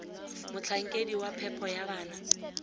motlhankedi wa phepo ya bana